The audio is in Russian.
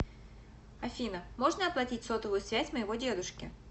афина можно оплатить сотовую связь моего дедушки